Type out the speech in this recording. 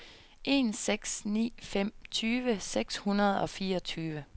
en seks ni fem tyve seks hundrede og fireogtyve